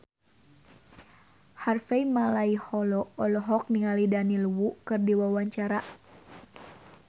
Harvey Malaiholo olohok ningali Daniel Wu keur diwawancara